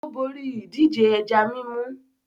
Ó borí ìdíje ẹja mímú.